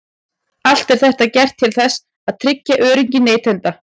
Allt er þetta gert til þess að tryggja öryggi neytenda.